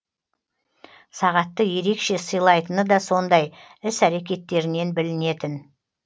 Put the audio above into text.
сағатты ерекше сыйлайтыны да сондай іс әрекеттерінен білінетін